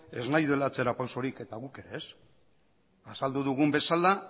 ez nahi duela atzera pausorik eta guk ere ez azaldu dugun bezala